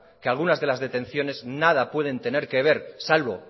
que algunas de las detenciones nada pueden tener que ver salvo